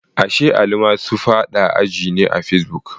Ashe Ali ma su fada a ji ne a fesibuk?